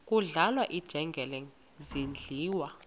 kudlala iinjengele zidliwa